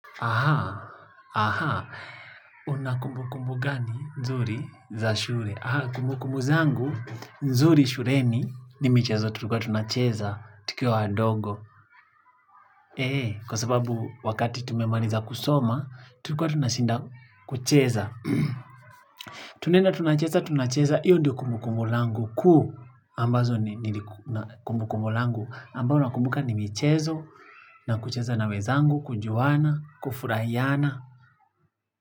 Aha, aha, unakumbu kumbu gani nzuri za shure? Aha, kumbu kumbu zangu, nzuri shuleni, ni michezo, tulikuwa tunacheza, tukiwa wadogo. Eee, kwa sababu wakati tumemaliza kusoma, tulikuwa tunashinda kucheza. Tunaenda tunacheza, tunacheza, hiyo ndiyo kumbu kumbu langu, kuu, ambazo ni kumbu kumbu langu, ambao nakumbuka nimichezo, na kucheza na wezangu, kujuana, kufurahiana.